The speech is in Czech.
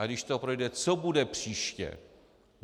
Ale když to projde, co bude příště?